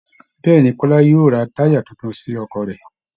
Bẹ́ẹ̀ ni, Kọ́lá yóò ra táyà tuntun sí ọkọ̀ rẹ̀